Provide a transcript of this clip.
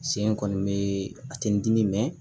Sen in kɔni bɛ a tɛ n dimi mɛ